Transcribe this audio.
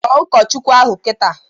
Kpọọ ụkọchukwu ahụ kịta!